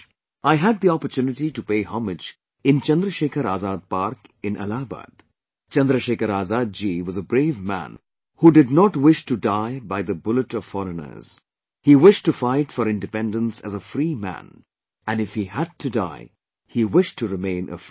I had the opportunity to pay homage in Chandrashekhar Azad Park in Allahabad, Chandrasekhar Azad Ji was a brave man who did not wish to die by the bullet of foreigners he wished to fight for independence as a free man and if he had to die, he wished to remain a free man